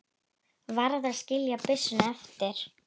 Varð að skilja byssuna eftir.